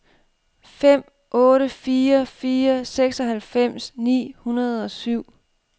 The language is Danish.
fem otte fire fire seksoghalvfems ni hundrede og syv